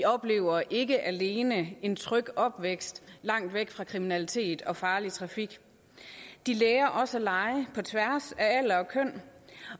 oplever ikke alene en tryg opvækst langt væk fra kriminalitet og farlig trafik de lærer også at lege på tværs af alder og køn